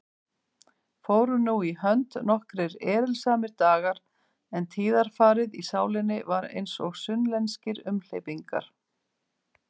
Fóru nú í hönd nokkrir erilsamir dagar, en tíðarfarið í sálinni var einsog sunnlenskir umhleypingar.